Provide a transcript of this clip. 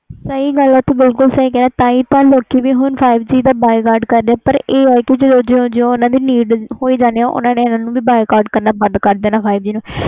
ਸਹੀ ਗੱਲ ਆ' ਤੂੰ ਸਹੀ ਕਹਿ ਰਿਹਾ ਆ ਤਾਹਿ ਲੋਕੀ five G ਦਾ ਬਾਈਕਾਟ ਕਰਦੇ ਪਾਏ ਨੇ ਪਾਰ ਇਹ ਨਾ ਜਦੋ ਜਦੋ need ਹੋਈ ਜਾਣੀ ਓਦੋ ਇਹਨਾਂ ਨੂੰ ਵੀ ਬਾਈਕਾਟ ਕਰਨਾ ਬੰਦ ਕਰ ਦੇਣਾ